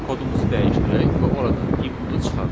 Gəlin kodumuzu dəyişdirək və oradan inputu çıxardaq.